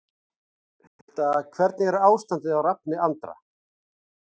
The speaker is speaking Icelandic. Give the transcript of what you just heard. Hulda Hvernig er ástandið á Rafni Andra?